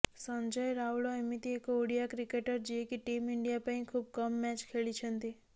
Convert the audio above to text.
ସଞ୍ଜୟ ରାଉଳ ଏମିତି ଏକ ଓଡ଼ିଆ କ୍ରିକେଟର ଯିଏକି ଟିମ୍ ଇଣ୍ଡିଆ ପାଇଁ ଖୁବ କମ୍ ମ୍ୟାଚ ଖେଳିଛନ୍ତି